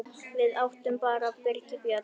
Við áttum bara Birgi Björn.